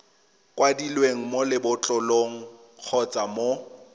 kwadilweng mo lebotlolong kgotsa mo